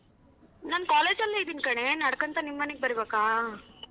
ನಾನ್ college ಅಲ್ಲೆ ಇದೀನ್ ಕಣೆ ನಡ್ಕನ್ತಾ ನಿಮ್ಮನೇಗ್ ಬರ್ಬೇಕ?